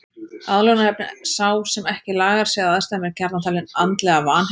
Aðlögunarhæfni Sá sem ekki lagar sig að aðstæðum er gjarnan talinn andlega vanheill.